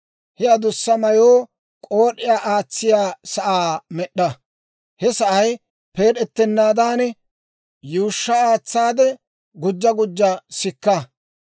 He adussa mayoo k'ood'iyaa aatsiyaa sa'aa med'd'a. He sa'ay peed'ettenaadan, yuushsha aatsaade gujja gujja sikka.